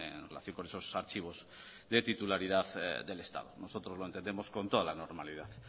en relación con esos archivos de titularidad del estado nosotros lo entendemos con toda la normalidad